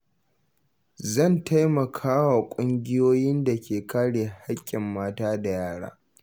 Zan taimaka wa ƙungiyoyin da ke kare haƙƙin mata da yara.